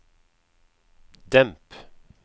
demp